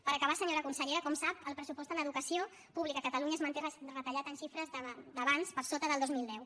per acabar senyora consellera com sap el pressupost en educació pública a catalunya es manté retallat en xifres d’abans per sota del dos mil deu